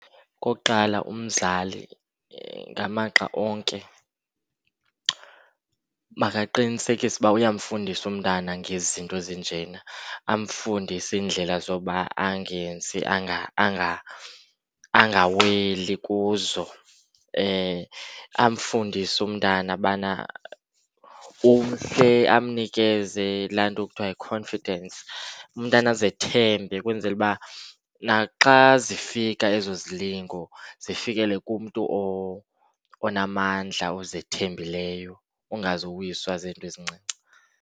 Okokuqala, umzali ngamaxa onke makaqinisekise uba uyafundisa umntana ngezi zinto zinjena. Amfundise iindlela zokuba angenzi, angaweli kuzo. Amfundise umntana bana umhle, amnikezele laa nto kuthiwa yi-confidence, umntana azithembe ukwenzela uba naxa zifika ezo zilingo zifikelele kumntu onamandla ozithembileyo, ongazuwiswa zizinto ezincinci.